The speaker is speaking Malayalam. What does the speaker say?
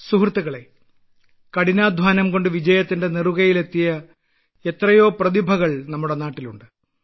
സുഹൃത്തുക്കളെ കഠിനാധ്വാനം കൊണ്ട് വിജയത്തിന്റെ നെറുകയിൽ എത്തിയ എത്രയോ പ്രതിഭകൾ നമ്മുടെ നാട്ടിൽ ഉണ്ട്